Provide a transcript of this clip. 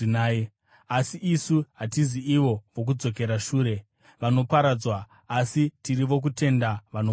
Asi isu hatisi ivo vokudzokera shure, vanoparadzwa, asi tiri vokutenda vanoponeswa.